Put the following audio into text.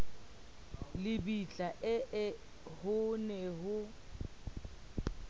lebitla ee ho ne ho